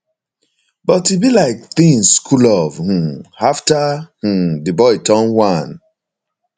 but e be like tinz cool off um afta um di boy turn one